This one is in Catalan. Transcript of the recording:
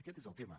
aquest és el tema